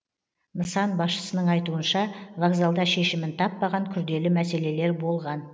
нысан басшысының айтуынша вокзалда шешімін таппаған күрделі мәселелер болған